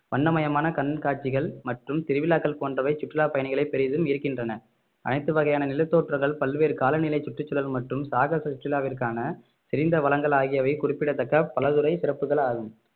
வண்ணமயமான கண்காட்சிகள் மற்றும் திருவிழாக்கள் போன்றவை சுற்றுலா பயணிகளை பெரிதும் ஈர்க்கின்றன அனைத்து வகையான நிலத்தோற்றங்கள் பல்வேறு காலநிலை சுற்றுச்சூழல் மற்றும் சாகச சுற்றுலாவிற்கான செறிந்த வளங்கள் ஆகியவை குறிப்பிடத்தக்க பலதுறை சிறப்புகள் ஆகும்